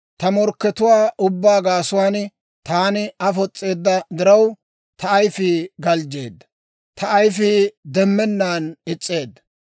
Ta morkkatuwaa ubbaa gaasuwaan taani afos's'eedda diraw, ta ayifii galjjeedda; ta ayifii demmennaan is's'eedda.